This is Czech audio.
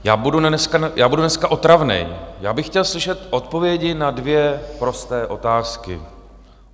Já budu dneska otravný, já bych chtěl slyšet odpovědi na dvě prosté otázky.